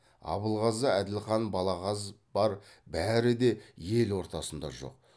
абылғазы әділхан балағаз бар бәрі де ел ортасында жоқ